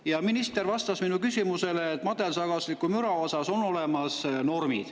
Ja minister vastas minu küsimusele, et madalsagedusliku müra kohta on normid olemas.